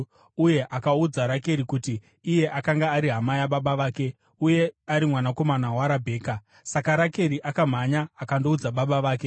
Uye akaudza Rakeri kuti iye akanga ari hama yababa vake uye ari mwanakomana waRabheka. Saka Rakeri akamhanya akandoudza baba vake.